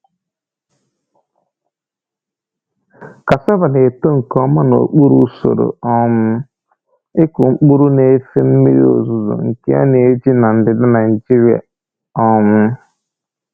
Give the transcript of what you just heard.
Cassava na-eto nke ọma n’okpuru usoro um ịkụ mkpụrụ na-efe mmiri ozuzo nke a na-eji na ndịda Nigeria. um